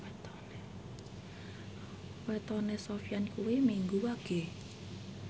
wetone Sofyan kuwi Minggu Wage